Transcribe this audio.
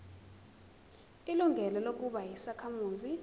ilungelo lokuba yisakhamuzi